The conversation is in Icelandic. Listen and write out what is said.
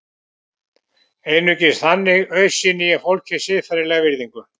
Einungis þannig auðsýni ég fólki siðferðilega virðingu.